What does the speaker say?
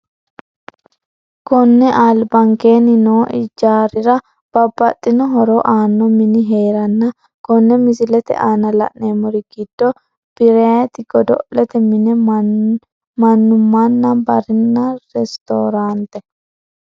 Konne albankeeni noo ijaarira babaxino horo aano mini heeranna kone misilete aana la`nemori giddo birayiti godo`lete mine manumana barina ristorante.